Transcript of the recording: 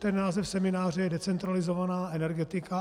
Ten název semináře je Decentralizovaná energetika.